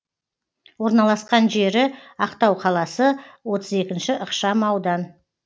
орналасқан жері ақтау қаласы отыз екінші ықшам аудан